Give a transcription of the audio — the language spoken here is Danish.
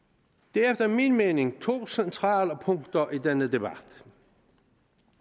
der er efter min mening to centrale punkter i denne debat